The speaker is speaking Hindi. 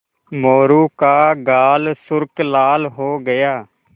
मोरू का गाल सुर्ख लाल हो गया